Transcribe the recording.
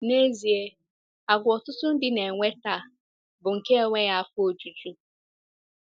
N'ezie, àgwà ọtụtụ ndị na-enwe taa bụ nke enweghị afọ ojuju.